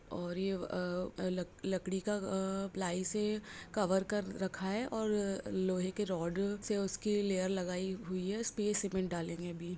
और ये अ-अ लकड़ी का अ पलाई से कवर कर रखा है और लोहे के रोड से उस के लेयर लगाई हुई है स्पेस सीमेंट डालेंगे अभी।